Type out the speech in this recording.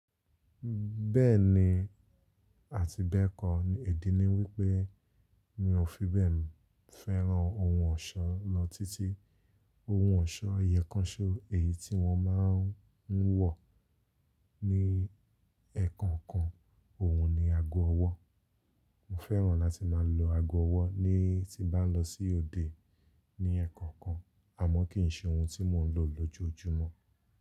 Bẹ́ẹ̀ni àti bẹ́ẹ̀kọ́, èdínní wípé mi ò fi bẹ́ẹ̀ fẹ́ràn ohun ọ̀ṣọ́ lọ títí. Ohun ọ̀ṣọ́ ẹyo kan ṣo, èyí tí wọ́n máà ń wọ̀ ní ẹ́ẹ̀kọ̀kan, òhun ni ago ọwọ́. Mo féràn láti máa lo ago owó nígbà tí mo bà lo sí òde ní eèkòòkan, àmó kìí se ohun tí mo ń lò ní ojójúmó.